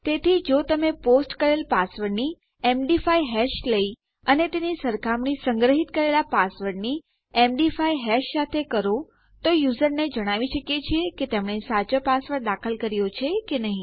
તેથી જો તમે પોસ્ટ કરેલ પાસવર્ડની એમડી5 હેશ લઈ અને તેની સરખામણી સંગ્રહીત કરેલ પાસવર્ડની એમડી5 હેશ સાથે કરો તો યુઝરને જણાવી શકીએ છીએ કે તેમણે સાચો પાસવર્ડ દાખલ કર્યો છે કે નહી